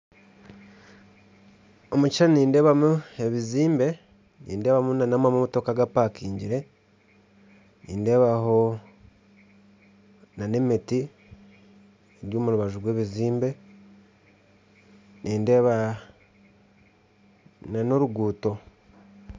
Omu kishushani nindeebamu ebizimbe, nindeebamu n'amamotoka agapakingire, nindeebamu n'emiti eri omu rubaju rw'ebizimbe, kandi nindeebamu n'oruguuto